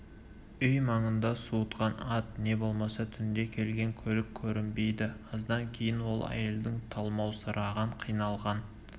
үй маңында суытқан ат не болмаса түнде келген көлік көрінбейді аздан кейін ол әйелдің талмаусыраған қиналған